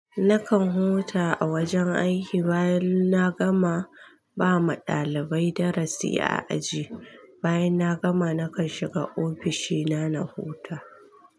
Nakan huta a wajen aiki bayan na gama ba ma dalibai darasi a aji. Bayan na gama nakan shiga ofishi na, na huta.